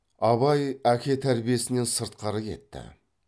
абай әке тәрбиесінен сыртқары кетті